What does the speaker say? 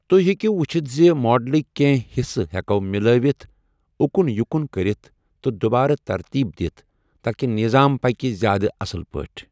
تُہۍ ہٮ۪کِو ؤچھتھ زِ ماڈلٕکۍ کینٛہہ حصہٕ ہٮ۪کَو مِلٲوِتھ، اُکُن یُکُن کٔرِتھ، تہٕ دُوبارٕ ترتیٖب دِتھ تاکہِ نظام پَکہِ زِیٛادٕ اصل پٲٹھۍ۔